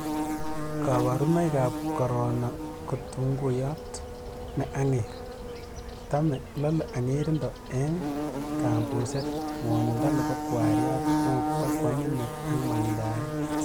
kaborunoikab korono ko tunguyot ne ang'er , tame,, lole, ang'erindo eng' kambuset, ng'wonindo nebo kwariat, mokto, koamin met ak mang'dae